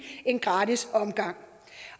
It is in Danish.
en gratis omgang